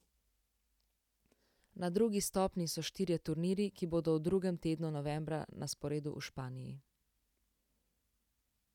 Na drugi stopnji so štirje turnirji, ki bodo v drugem tednu novembra na sporedu v Španiji.